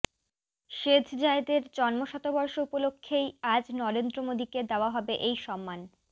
শেঝ জায়েদের জন্ম শতবর্ষ উপলক্ষেই আজ নরেন্দ্র মোদীকে দেওয়া হবে এই সম্মান